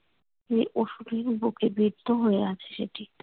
যে অসুরের বুকে বিদ্ধ হয়ে আছে সেটি।